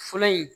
Fɔlɔ in